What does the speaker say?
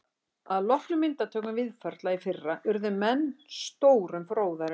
Að loknum myndatökum Víðförla í fyrra urðu menn stórum fróðari um